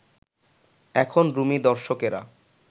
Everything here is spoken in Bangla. এখানকার রুমী দর্শকেরা